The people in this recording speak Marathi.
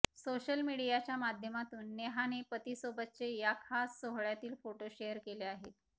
सोशल मीडियाच्या माध्यमातून नेहाने पतीसोबतचे या खास सोहळ्यातील फोटो शेअर केले आहेत